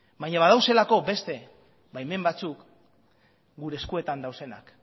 baina badauzelako beste baimen batzuk gure eskuetan dauzenak